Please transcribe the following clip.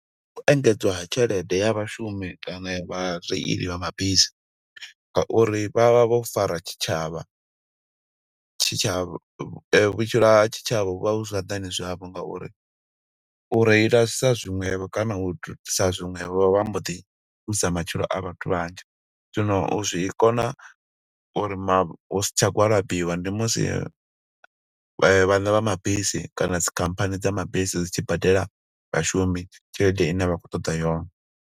U engedzwa ha tshelede ya vhashumi kana ya vha reili vha mabisi, nga uri vha vha vho fara tshitshavha. Tshitshavha, vhutshilo ha tshitshavha hu vha hu zwanḓani zwavho nga uri u reilisa zwiṅwevho, kana u sa zwiṅwevho vha mbo ḓi ṱuwisa matshilo a vhathu vhanzhi. Zwino u zwi kona uri ma, hu si tsha gwalabiwa, ndi musi vhaṋe vha mabisi kana dzikhamphani dza mabisi dzi tshi badela vhashumi tshelede ine vha khou ṱoḓa yone.